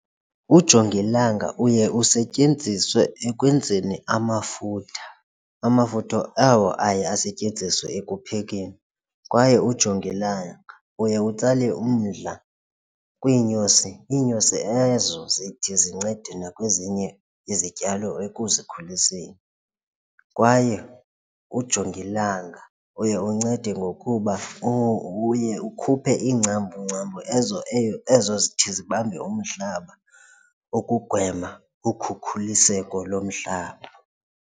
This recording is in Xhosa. Ujongilanga uye usetyenziswe ekwenzeni amafutha, amafutha awo aye asetyenziswe ekuphekeni kwaye ujongilanga uye utsala umdla kwiinyosi, iinyosi ezo zithi zincede nakwezinye izityalo ekuzikhuliseni kwaye ujongilanga uye uncede ngokuba uye ukhuphe iingcambu, ngcambu ezo eyo ezo zithi zibambe umhlaba ukugwema ukhukhuliseko lomhlaba.